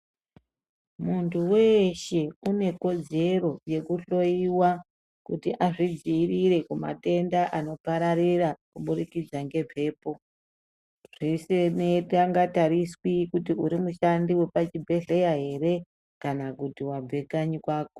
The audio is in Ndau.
Muntu weeshe une kodzero yekuhloiwa, kuti azvidziirire kumatenda anopararira kuburikidza ngemphepo, zvesenangatariswi kuti uri mushandi wepachibhedhleya ere, kana kuti wabve kanyi kwako.